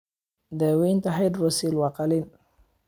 Daaweynta hydrocele waa qalliin.